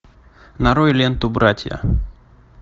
нарой ленту братья